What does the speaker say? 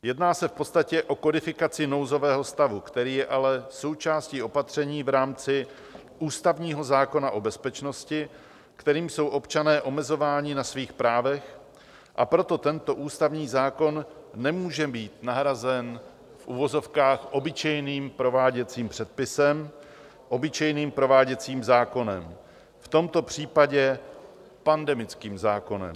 Jedná se v podstatě o kodifikaci nouzového stavu, který je ale součástí opatření v rámci ústavního zákona o bezpečnosti, kterým jsou občané omezováni na svých právech, a proto tento ústavní zákon nemůže být nahrazen v uvozovkách obyčejným prováděcím předpisem, obyčejným prováděcím zákonem, v tomto případě pandemickým zákonem.